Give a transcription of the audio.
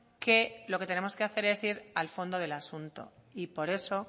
que lo que tenemos que hacer es ir al fondo del asunto y por eso